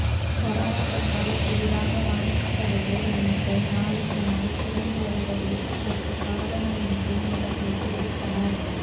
corona தொற்றால் புதிதாகப் பாதிக்கப்படுவோா் எண்ணிக்கை நாளுக்கு நாள் குறைந்து வருவதே இதற்குக் காரணம் என்றும் அவா்கள் தெரிவித்தனா்